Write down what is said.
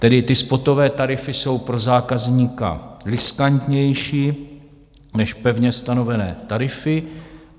Tedy ty spotové tarify jsou pro zákazníka riskantnější než pevně stanovené tarify.